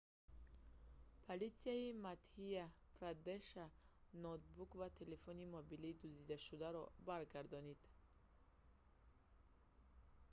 политсияи мадҳя-прадеша ноутбук ва телефони мобилии дуздидашударо баргардонид